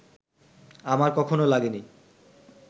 আমার কখনও লাগেনি